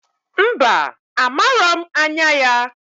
Mba! Amaro m anya ya.